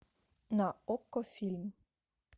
на окко фильм